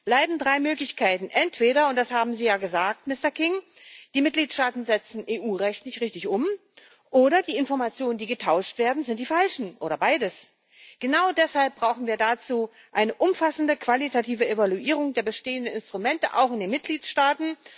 Bleiben drei Möglichkeiten Entweder und das haben Sie ja gesagt, Mister King die Mitgliedstaaten setzen EU Recht nicht richtig um, oder die Informationen, die getauscht werden, sind die falschen, oder beides. Genau deshalb brauchen wir dazu eine umfassende qualitative Evaluierung der bestehenden Instrumente auch in den Mitgliedstaaten.